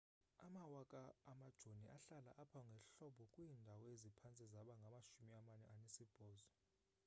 amawaka amajoni ahlala apha ngehlobo kwiindawo eziphantse zibe ngamashumi amane anesibhozo